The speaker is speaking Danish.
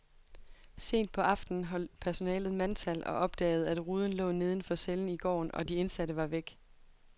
Sent på aftenen holdt personalet mandtal og opdagede, at ruden lå neden for cellen i gården, og de indsatte var væk.